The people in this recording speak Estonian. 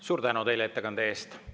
Suur tänu ettekande eest!